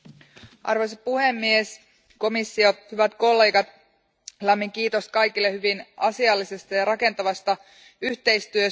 Arvoisa puhemies, komissio, hyvät kollegat, lämmin kiitos kaikille hyvin asiallisesta ja rakentavasta yhteistyöstä.